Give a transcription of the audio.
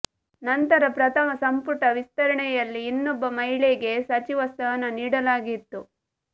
ನಂತರ ಪ್ರಥಮ ಸಂಪುಟ ವಿಸ್ತರಣೆಯಲ್ಲಿ ಇನ್ನೊಬ್ಬ ಮಹಿಳೆಗೆ ಸಚಿವ ಸ್ಥಾನ ನೀಡಲಾಗಿತ್ತು